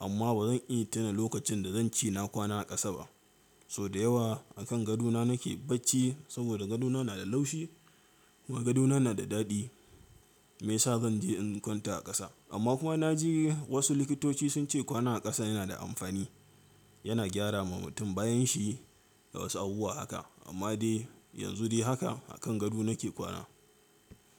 Amma bazan iya tuna lokacin da zan ce na kwana a ƙasa ba. Sau da yawa a kan gadona nake bacci saboda gadona na da laushi, wa gadona na da daɗi. Me ya sa zan je in kwanta a ƙasa. Amma kuma na ji wasu likitoci sun ce kwana a ƙasa yana da amfani, yana gyara ma mutum bayan shi da wasu abubuwa haka. Amma dai yanzu dai haka a kan gado nake kwana.